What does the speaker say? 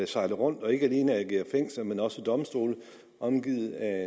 sejle rundt og ikke alene agere fængsel men også domstol omgivet af